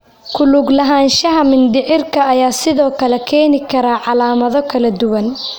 Ku lug lahaanshaha mindhicirka ayaa sidoo kale keeni kara calaamado kala duwan.